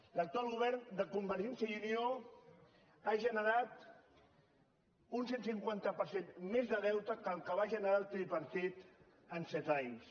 l’actual govern de convergència i unió ha generat un cent i cinquanta per cent més de deute que el que va generar el tripartit en set anys